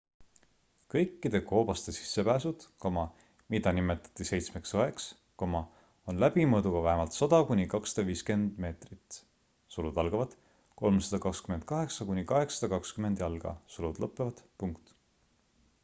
kõikide koobaste sissepääsud mida nimetati seitsmeks õeks on läbimõõduga vähemalt 100 kuni 250 meetrit 328 kuni 820 jalga